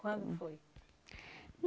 Quando foi?